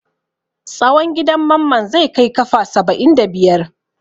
Tsawon gidan Mamman zai kai kafa saba'in da biyar.